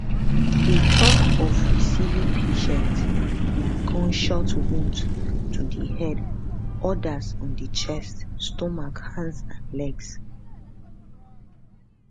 e tok of receiving patients with gunshot wounds to di head odas on di chest stomach hands and legs